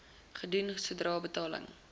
gedoen sodra betaling